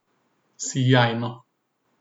Sijajno.